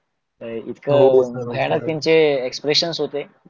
इतक भयानक त्यांचे एक्ष्प्रेसन होते